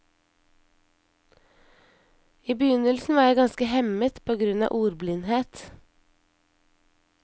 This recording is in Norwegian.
I begynnelsen var jeg ganske hemmet på grunn av ordblindhet.